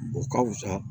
O ka fusa